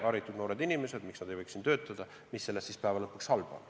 Haritud noored inimesed, miks nad ei võiks siin töötada – mis selles siis lõpuks halba on.